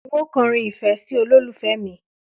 N óò ko̩ orin ìfé̩ sí olólùfe̩ mi